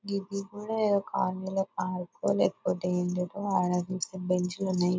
ఇది కూడా ఆంధ్ర పార్కు లేకపోతే ఏంటిదో ఆడ చూస్తే బెంచి లు ఉన్నాయ్.